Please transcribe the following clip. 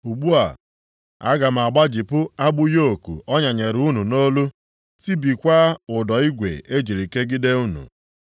Ugbu a, aga m agbajipụ agbụ yoku ọ nyanyere unu nʼolu, tibikwaa ụdọ igwe e jiri kegide unu.”